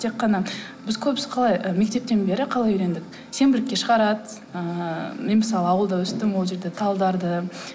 тек қана біз көбісі қалай і мектептен бері қалай үйрендік сенбілікке шығарады ыыы мен мысалы ауылда өстім ол жерде талдарды